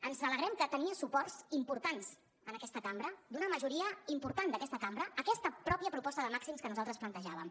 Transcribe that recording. ens alegrem que tingués suports importants en aquesta cambra d’una majoria important d’aquesta cambra aquesta mateixa proposta de màxims que nosaltres plantejàvem